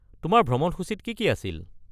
তোমাৰ ভ্ৰমণসূচীত কি কি আছিল?